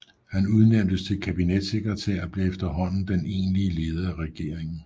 Han udnævntes til kabinetssekretær og blev efterhånden den egentlige leder af regeringen